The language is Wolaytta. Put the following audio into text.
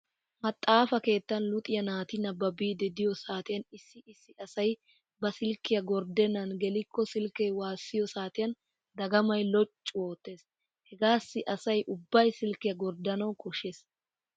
Maxaafa keettan luxiyaa naati nababiiddi diyo saatiyan issi issi asay ba silkiya gorddennan gelikko silkkee waassiyoo saatiyan dagamay loccu oottees. Hegaassi asay ubbay silkkiyaa gorddanawu koshshees.